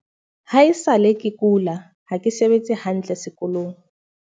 "Ha e sa le ke kula, ha ke sebetse hantle sekolong."